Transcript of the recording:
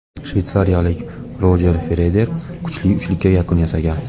Shveysariyalik Rojer Federer kuchli uchlikka yakun yasagan.